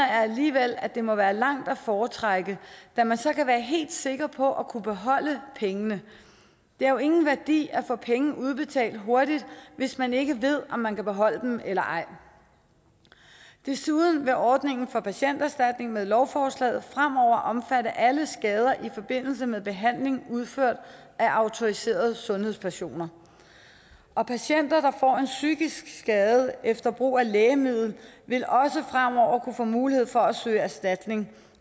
alligevel at det må være langt at foretrække da man så kan være helt sikker på at kunne beholde pengene det har jo ingen værdi at få penge udbetalt hurtigt hvis man ikke ved om man kan beholde dem eller ej desuden vil ordningen for patienterstatning med lovforslaget fremover omfatte alle skader i forbindelse med behandling udført af autoriserede sundhedspersoner og patienter får en psykisk skade efter brug af lægemiddel vil også fremover kunne få mulighed for at søge erstatning